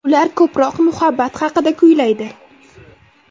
Ular ko‘proq muhabbat haqida kuylaydi.